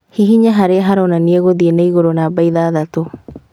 Hihinya harĩa haronania gũthiĩ na igũrũ namba ithathatũ